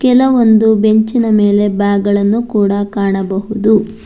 ಕೆಲವೊಂದು ಬೆಂಚಿನ ಮೇಲೆ ಬ್ಯಾಗ್ ಗಳನ್ನು ಕೂಡ ಕಾಣಬಹುದು.